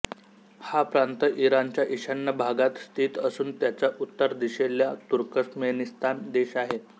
हा प्रांत इराणच्या ईशान्य भागात स्थित असून त्याच्या उत्तर दिशेला तुर्कमेनिस्तान देश आहे